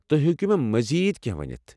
تُہۍ ہیكو مےٚ مزید كینٛہہ ونِتھ ؟